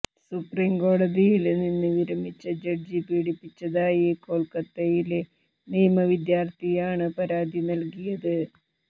സുപ്രീംകോടതിയില് നിന്ന് വിരമിച്ച ജഡ്ജി പീഡിപ്പിച്ചതായി കോല്ക്കത്തയിലെ നിയമവിദ്യാര്ഥിയാണ് പരാതി നല്കിയത്